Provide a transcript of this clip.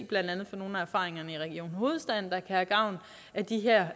blandt andet fra nogle af erfaringerne i region hovedstaden kan have gavn af de her